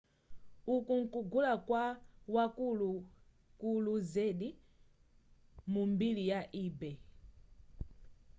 uku nkugula kwa wakukulu zedi mu mbiri ya ebay